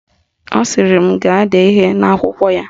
Ọ sịrị m ga-ede ihe n'akwụkwọ ya